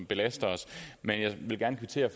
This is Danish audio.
belaster os men jeg vil gerne kvittere